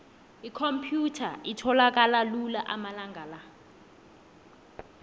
ikhomphyutha itholakala lula amalanga la